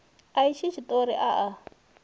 a itshi tshiṱori a a